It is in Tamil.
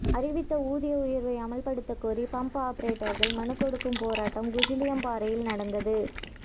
அறிவித்த ஊதிய உயர்வை அமல்படுத்த கோரி பம்ப் ஆபரேட்டர்கள் மனு கொடுக்கும் போராட்டம் குஜிலியம்பாறையில் நடந்தது